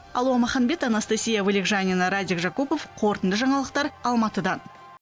алуа маханбет анастасия вылегжанина радик жакупов қорытынды жаңалықтар алматыдан